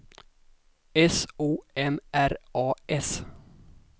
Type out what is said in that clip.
S O M R A S